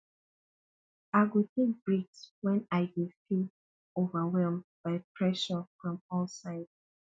i go take breaks when i dey feel overwhelmed by pressure from all sides